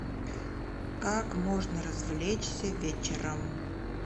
как можно развлечься вечером